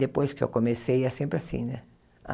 Depois que eu comecei, é sempre assim, né?